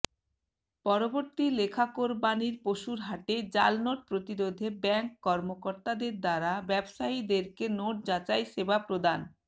পরবর্তী লেখাকোরবানীর পশুর হাটে জালনোট প্রতিরোধে ব্যাংক কর্মকর্তাদের দ্বারা ব্যবসায়ীদেরকে নোট যাচাই সেবা প্রদান